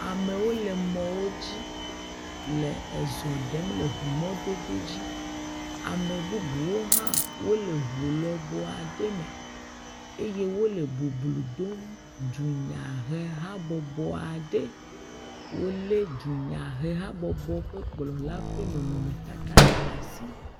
Amewo le mɔwo dzi, le ezɔ ɖem le ŋu mɔdodo dzi. Ame bubuwo hã wole ŋu lɔbɔa ɖe me eye wole boblo dom dunyahe habɔbɔa ɖe, wolé dunyahe habɔbɔ ƒe kplɔla ƒe nɔnɔmetata ɖe asi.